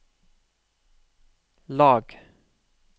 lag